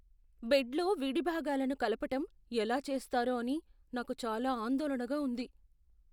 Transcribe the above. బెడ్లో విడిభాగాలను కలపటం ఎలా చేస్తారో అని నాకు చాలా ఆందోళనగా ఉంది.